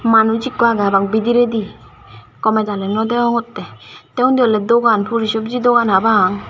manus eko agey haba pang bediri gomey daley nw degongotey tey ondi oley dogan puri sopji dogan para pang.